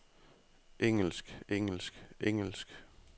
engelsk engelsk engelsk